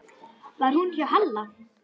Var hún hjá Halla?